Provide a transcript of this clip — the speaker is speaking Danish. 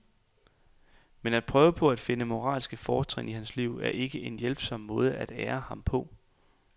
Men at prøve på at finde moralske fortrin i hans liv er ikke en hjælpsom måde at ære ham på.